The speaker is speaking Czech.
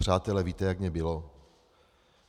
Přátelé, víte, jak mně bylo?